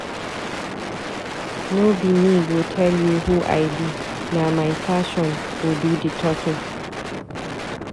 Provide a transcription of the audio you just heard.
No be me go tel you who I be. Na my fashion go do di talking.